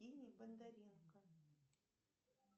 бондаренко